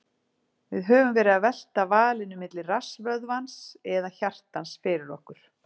Við höfum verið að velta valinu milli rassvöðvans eða hjartans fyrir okkur.